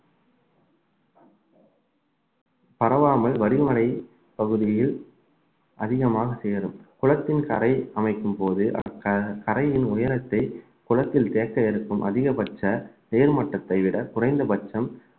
பரவாமல் வடிமலை பகுதியில் அதிகமாக சேரும் குளத்தின் கரை அமைக்கும்போது க~ கரையின் உயரத்தை குளத்தில் தேக்க இருக்கும் அதிகபட்ச தேர்மட்டத்தை விட குறைந்த பட்சம்